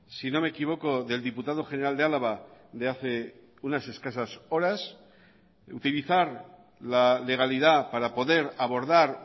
si no me equivoco del diputado general de álava de hace unas escasas horas utilizar la legalidad para poder abordar